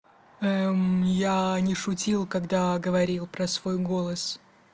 эм я не шутил когда говорил про свой голос